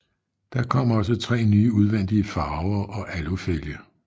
Der kom også tre nye udvendige farver og alufælge